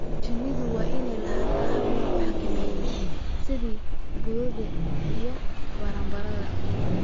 Shinnidu waa inay lahaataa hab lagu xakameeyo cayayaanka sida boodada iyo baranbarada.